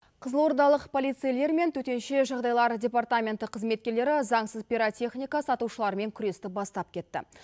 қызылордалық полицейлер мен төтенше жағдайлар департаменті қызметкерлері заңсыз пиротехника сатушылармен күресті бастап кетті